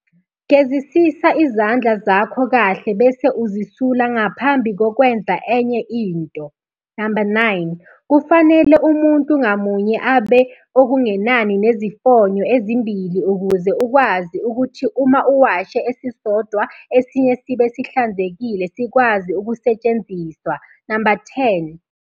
Gezisisa izandla zakho kahle bese uzisula ngaphambi kokwenza enye into. 9. Kufanele umuntu ngamunye abe okungenani nezifonyo ezimbili ukuze ukwazi ukuthi uma uwashe esisodwa esinye sibe sihlanzekile sikwazi ukusetshenziswa. 10.